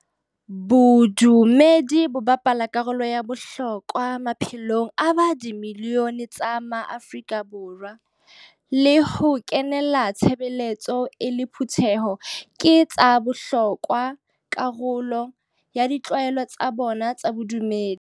Bodumedi bo bapala karolo ya bohlokwa maphelong a di milione tsa maAfrika Borwa, le ho kenela tshebeletso e le phutheho ke ka karolo ya bohlokwa ya ditlwaelo tsa bona tsa bodumedi.